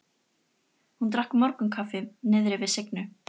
Hún drakk morgunkaffi niðri við Signu.